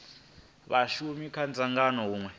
vhashumi kha dzangano ha hunwe